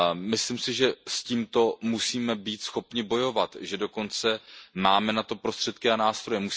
Myslím si, že s tímto musíme být schopni bojovat, že dokonce máme na to prostředky a nástroje.